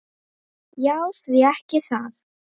Já því ekki það?